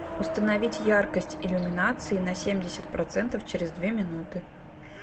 установить яркость иллюминации на семьдесят процентов через две минуты